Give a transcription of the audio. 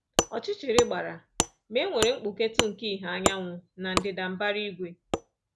Ọchịchịrị gbara, ma e nwere mgbuketụ nke ìhè anyanwụ na ndịda mbara igwe.